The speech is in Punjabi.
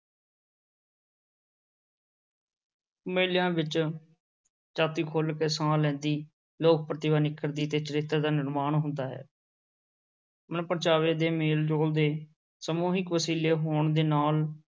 ਮੇਲਿਆਂ ਵਿੱਚ ਜਾਤੀ ਖੁੱਲ੍ਹ ਕੇ ਸਾਹ ਲੈਂਦੀ, ਲੋਕ-ਪ੍ਰਤਿਭਾ ਨਿੱਖਰਦੀ ਤੇ ਚਰਿੱਤਰ ਦਾ ਨਿਰਮਾਣ ਹੁੰਦਾ ਹੈ ਮਨ-ਪਰਚਾਵੇ ਤੇ ਮੇਲ-ਜੋਲ ਦੇ ਸਮੂਹਿਕ ਵਸੀਲੇ ਹੋਣ ਦੇ ਨਾਲ,